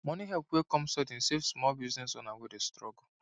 money help wey come sudden save small business owner wey dey struggle